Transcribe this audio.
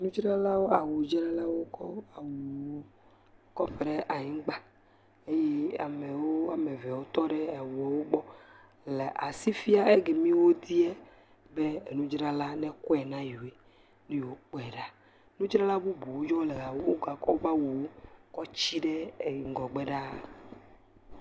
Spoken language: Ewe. Nudzralawo awudzralwo kɔ awuwo kɔ ƒo ɖe anyigba eye amewo wɔme eve wotɔ ɖe awuwo gbɔ le fi si fiam eke mi wodzia be enudrala nekɔ na yewo ne yewoakpɔe ɖa. nudzrala bubu yiwo le wogakɔ woƒe awu kɔ tsi ɖe ŋgɔgbe ɖa.